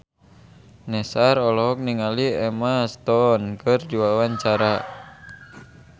Nassar olohok ningali Emma Stone keur diwawancara